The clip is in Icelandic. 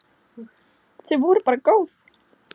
Þau voru bara góð.